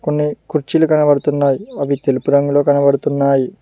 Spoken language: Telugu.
కొన్ని కుర్చీలు కనబడుతున్నాయి అవి తెలుపు రంగులో కనబడుతున్నాయి.